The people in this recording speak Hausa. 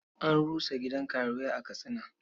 An rusa gidan karuwai a Katsina.